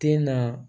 Te na